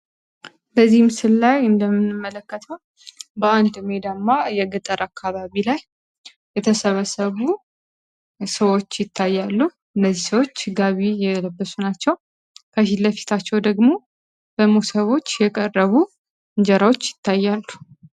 በዚህ ምስል ላይ እንደምንመለከተው በአንድ ሜዳማ የገጠር አካባቢ ላይ የተሰበሰቡ ሰዎች ይታያሉ። ነዚህሰዎች ጋቢ የለብሱ ናቸው ከሺለፊታቸው ደግሞ በሙሰቦች የቀረቡ እንጀራዎች ይታያሉ።